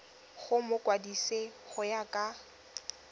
go mokwadise go ya ka